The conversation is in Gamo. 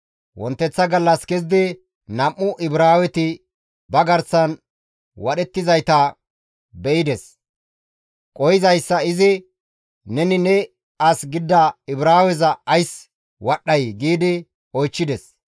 Wonteththa gallas kezidi nam7u Ibraaweti ba garsan wadhettizayta be7ides. Qohizayssa izi, «Neni ne as gidida Ibraaweza ays wadhdhay?» gi oychchides.